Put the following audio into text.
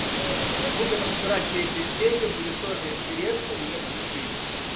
будем разбирать третью серию будет тоже интересно не спешите